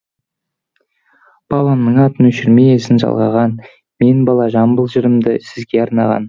бабамның атын өшірмей ізін жалғаған мен бала жамбыл жырымды сізге арнаған